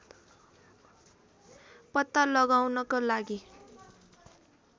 पत्ता लगाउनको लागि